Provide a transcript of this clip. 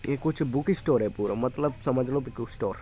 ये कुछ book store है पूरा मतलब समझ लो बुक स्टोर ।